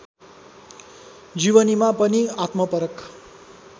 जीवनीमा पनि आत्मपरक